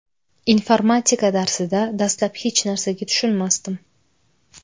Informatika darsida dastlab hech narsaga tushunmasdim.